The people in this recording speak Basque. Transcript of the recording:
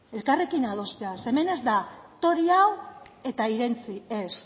elkarrekin adostea hemen ez da tori hau eta irentsi ez